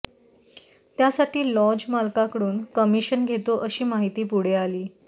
त्यासाठी लॉज मालकाकडून कमिशन घेतो अशी माहिती पुढे आली